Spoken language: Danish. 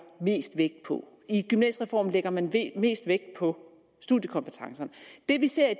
mest vægt på i gymnasiereformen lægger man mest vægt på studiekompetencerne det vi ser i